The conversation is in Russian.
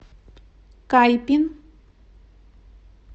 кайпин